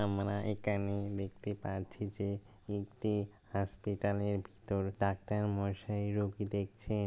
আমরা একানে দেখতে পারছি যে একটি হসপিটাল -এর ভিতর ডাক্তার মশাই রোগী দেখছেন।